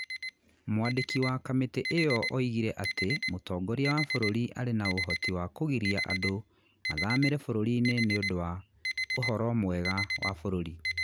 ''Mwandĩki wa kamĩtĩ ĩyo oigire atĩ mũtongoria wa bũrũri arĩ na ũhoti wa kũgiria andũ mathamĩre bũrũri inĩ nĩ ũndũ wa 'ũhoro mwega wa bũrũri.'